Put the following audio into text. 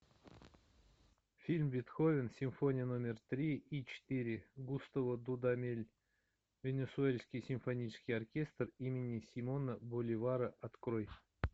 фильм бетховен симфония номер три и четыре густаво дудамель венесуэльский симфонический оркестр имени симона боливара открой